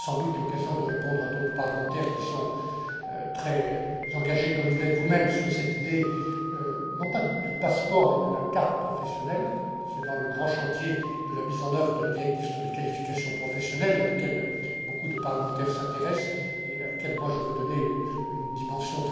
Nous aurons sans doute l'occasion de répondre à d'autres parlementaires, qui sont très engagés, comme vous l'êtes vous même, sur cette idée non pas du passeport, mais de la carte professionnelle. C'est dans le cadre du grand chantier de la mise en œuvre de la directive sur les qualifications professionnelles, à laquelle beaucoup de parlementaires s'intéressent, et à laquelle je veux donner une dimension